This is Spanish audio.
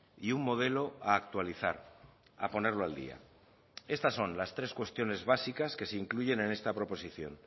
y un modelo a actualizar a ponerlo al día estas son las tres cuestiones básicas que se incluyen en esta proposición